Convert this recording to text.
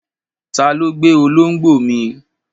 Ta ló gbé olóńgbò mi?